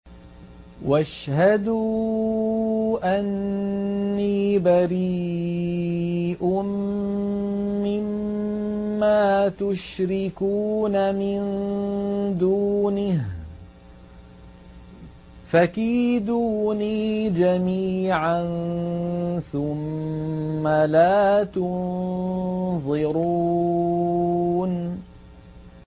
مِن دُونِهِ ۖ فَكِيدُونِي جَمِيعًا ثُمَّ لَا تُنظِرُونِ